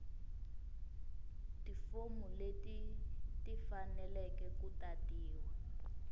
tifomu leti tifaneleke ku tatiwa